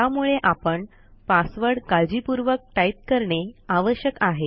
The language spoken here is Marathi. त्यामुळे आपण पासवर्ड काळजीपूर्वक टाईप करणे आवश्यक आहे